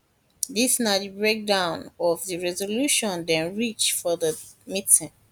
this na di break down of di resolution dem reach for di meeting